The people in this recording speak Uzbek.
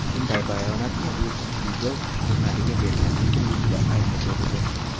Bunday bayonotni u Spiegel jurnaliga bergan intervyusida aytib o‘tdi.